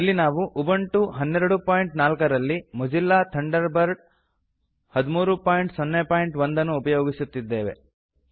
ಇಲ್ಲಿ ನಾವು ಉಬಂಟು 1204 ರಲ್ಲಿ ಮೋಜಿಲ್ಲಾ ಥಂಡರ್ ಬರ್ಡ್ 1301 ಅನ್ನು ಉಪಯೋಗಿಸುತ್ತಿದ್ದೇವೆ